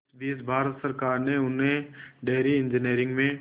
इस बीच भारत सरकार ने उन्हें डेयरी इंजीनियरिंग में